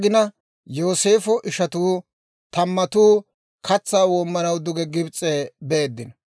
Yooseefo ishatuu tamattu katsaa woomanaw duge Gibs'e beeddino.